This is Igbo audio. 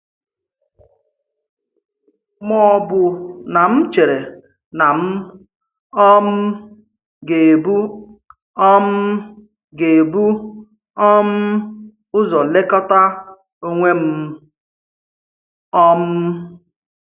Ma ọ̀ bụ̀ na m chèrè na m um gà-ebu um gà-ebu um ụzọ lekọta onwe m? um.